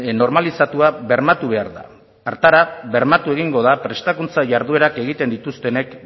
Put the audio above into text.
normalizatua bermatu behar da hartara bermatu egingo da prestakuntza jarduerak egiten dituztenek